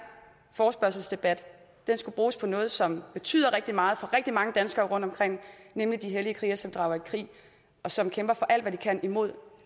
forespørgselsdebat skulle bruges på noget som betyder rigtig meget for rigtig mange danskere rundtomkring nemlig de hellige krigere som drager i krig og som kæmper for alt hvad de kan imod